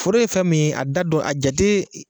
Foro ye fɛn min a da don a jate.